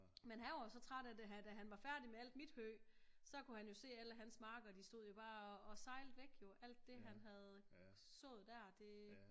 Men han var jo så træt af da han var færdig med alt mit hø så kunne han jo se alle hans marker de stod jo bare og sejlede væk alt det han havde sået der det